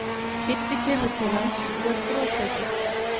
Kiddi kemur til hans og er brosleitur.